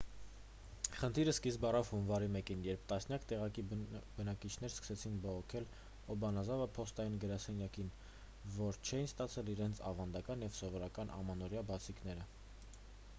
խնդիրը սկիզբ առավ հունվարի 1-ին երբ տասնյակ տեղացի բնակիչներ սկսեցին բողոքել օբանազավա փոստային գրասենյակին որ չէին ստացել իրենց ավանդական և սովորական ամանորյա բացիկները